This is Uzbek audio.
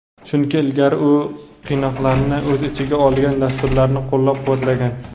chunki ilgari u qiynoqlarni o‘z ichiga olgan dasturlarni qo‘llab-quvvatlagan.